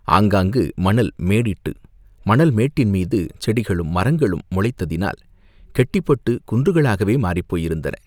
ஆங்காங்கு மணல் மேடிட்டு, மணல் மேட்டின்மீது செடிகளும், மரங்களும் முளைத்ததினால் கெட்டிப்பட்டுக் குன்றுகளாகவே மாறிப் போயிருந்தன.